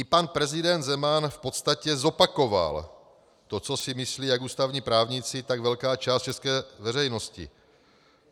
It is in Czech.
I pan prezident Zeman v podstatě zopakoval to, co si myslí ať ústavní právníci, tak velká část české veřejnosti.